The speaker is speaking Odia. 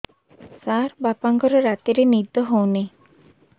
ସାର ବାପାଙ୍କର ରାତିରେ ନିଦ ହଉନି